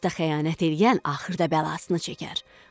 Dosta xəyanət eləyən axırda bəlasını çəkər.